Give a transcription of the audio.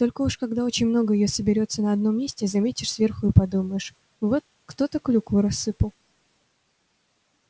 только уж когда очень много её соберётся на одном месте заметишь сверху и подумаешь вот кто-то клюкву рассыпал